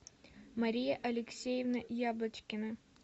мария алексеевна яблочкина